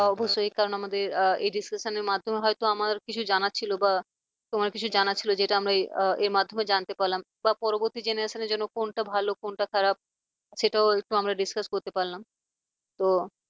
অবশ্যই কারণ আমাদের এই discussion এর মাধ্যমে হয়তো আমার কিছু জানার ছিল বা তোমার কিছু জানার ছিল যেটা আমরা এর মাধ্যমে জানতে পারলাম বা পরবর্তী generations র জন্য কোনটা ভালো কোনটা খারাপ সেটাও একটু আমরা discuss করতে পারলাম। তো